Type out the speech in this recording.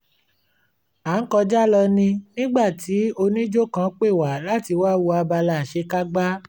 a ń kọjá lọ ní nígbà tí onijó kan pè wá láti wá wo abala àṣekágbá